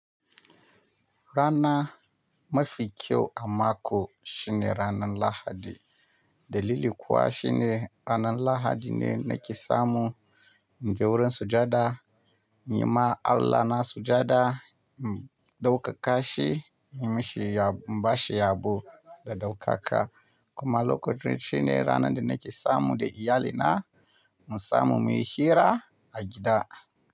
Rana mafi kyau a mako shine ranan Lahadi. Dalili kuwa shine ranan Lahadi ne nake samu in je wurin sujada, in yi ma Allahna sujada, in ɗaukaka shi, in mashi ya, in ba shi yabo da ɗaukaka. Kuma lokacin shine ranar da nake samu da iyalina, mu samu muyi hira a gida.